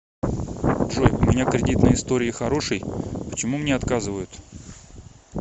джой у меня кредитные истории хороший почему мне отказывают